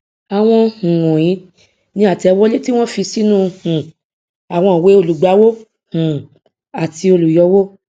àwọn um wònyíi ni àtẹwọlé tí wón fi sínú um àwọn ìwée olùgbàwó um àti olùyọwó